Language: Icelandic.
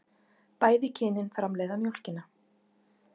Bæði kynin framleiða mjólkina.